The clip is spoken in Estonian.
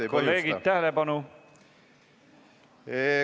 Head kolleegid, tähelepanu!